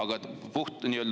See on üks pool.